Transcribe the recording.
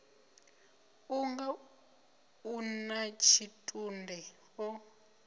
unga u natshitunde o ḓo